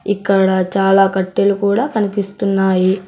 ఇక్కడ చాలా కట్టెలు కూడా కనిపిస్తున్నాయి.